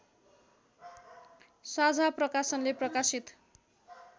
साझा प्रकाशनले प्रकाशित